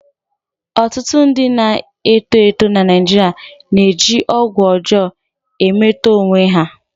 Ọtụtụ ndị na-eto eto na Naijiria na-eji ọgwụ ọjọọ emetọ onwe ha.